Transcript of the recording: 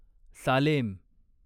Salem